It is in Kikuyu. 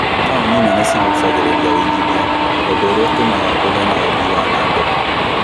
Tauni nene cigucagĩrĩria ũĩgithia ũndĩ ũrĩa ũtũmaga kũgie na ũthii wa nambere